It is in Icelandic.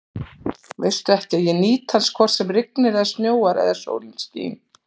Veistu ekki, að ég nýt hans hvort sem rignir eða snjóar eða sólin skín?